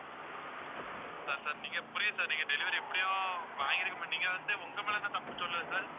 sir sir நீங்க புரியுது sir நீங்க delivery எப்படியும் வாங்கியிருக்க மாட்டீங்க நீங்க வந்து உங்க மேலே என்ன தப்பு சொல்லலை sir